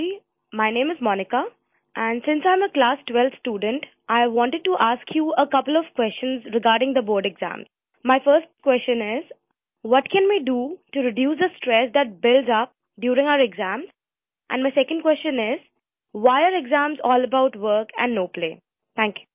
my name is Monica and since I am a class 12th student I wanted to ask you a couple of questions regarding the board exams my first question is what can we do to reduce the stress that builds up during our exams and my second question is why exams all about work and no play are